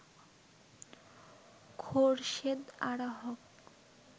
Khorshed Ara Haque